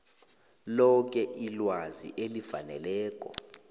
loke ilwazi elifaneleko